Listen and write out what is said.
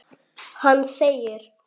Hann þegir.